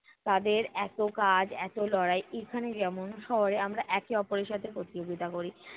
তাদের এত কাজ এত লড়াই, এখানে যেমন শহরে আমরা একে অপরের সাথে প্রতিযোগিতা করি।